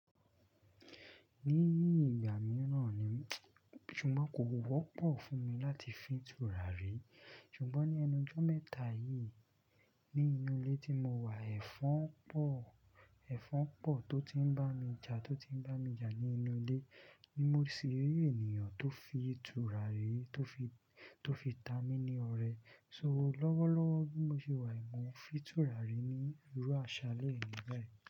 Níi ìgbà mìíràn ni, ṣùgbọ́n kò wọ́pọ̀ fún mi láti fi ìtura re. Ṣùgbọ́n, ní ẹnu jọ́ mẹ́ta yìí, ní inú ilé tí mo wà, ẹ̀fọn pọ̀, tó ti ń bá mi jà nínú ilé, ni mo sì rí ènìyàn tó fi turare, tó fi ta mí ní ọrẹ. So, lọ́wọ́lọ́wọ́ bí mo ṣe wà yii, mọ̀ fi turare ní irú àṣàlẹ̀ eni báyìí.